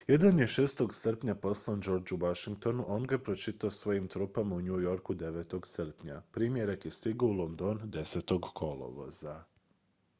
jedan je 6. srpnja poslan georgeu washingtonu a on ga je pročitao svojim trupama u new yorku 9. srpnja primjerak je stigao u london 10. kolovoza